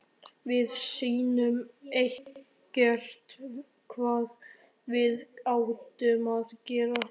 Við vissum ekkert hvað við áttum að gera.